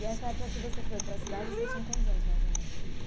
E essa época que você foi para cidade, você tinha quantos anos, mais ou menos, Rita?